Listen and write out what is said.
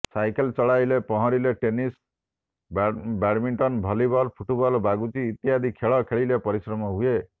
cycle ଚଲାଇଲେ ପହଁରିଲେ tennis badminton volleyball football ବାଗୁଡ଼ି ଇତ୍ୟାଦି ଖେଳ ଖେଳିଲେ ପରିଶ୍ରମ ହୁଏ